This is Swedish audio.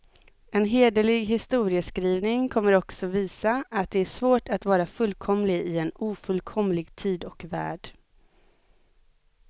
En hederlig historieskrivning kommer också visa, att det är svårt att vara fullkomlig i en ofullkomlig tid och värld.